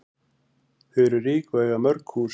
Þau eru rík og eiga mörg hús.